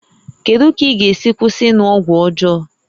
Kedu ka ị ga-esi kwụsị ịṅụ ọgwụ ọjọọ?